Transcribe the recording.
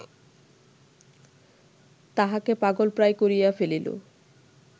তাহাকে পাগলপ্রায় করিয়া ফেলিল